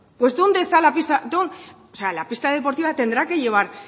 pues dónde está la pista la pista deportiva tendrá que llevar